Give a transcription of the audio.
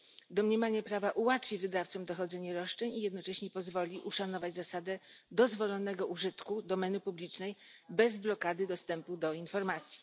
Domniemanie prawa ułatwi wydawcom dochodzenie roszczeń i jednocześnie pozwoli uszanować zasadę dozwolonego użytku domeny publicznej bez blokady dostępu do informacji.